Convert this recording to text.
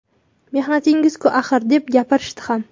Mehnatingiz-ku axir’, deb gapirishdi ham.